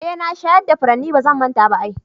Eh na shayar da furanni, bazan manta ba ai.